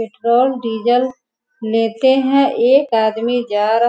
petrol diesel लेते हैं एक आदमी जा रहा --